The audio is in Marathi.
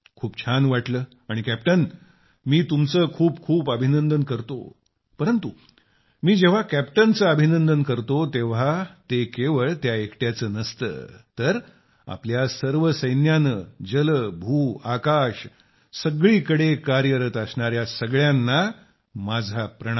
खूप छान वाटले आणि कॅप्टन मी तुमचे खूप खूप अभिनंदन करतो परंतु जेव्हा मी कॅप्टनचे अभिनंदन करतो तेव्हा ते केवळ त्या एकट्याचे नसते तर आपल्या सर्व सैन्याने जल भू आकाश सगळीकडे कार्यरत असणाऱ्या सगळ्यांना माझा सलाम